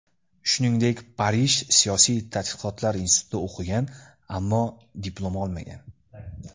Shuningdek, Parij siyosiy tadqiqotlar institutida o‘qigan, ammo diplom olmagan.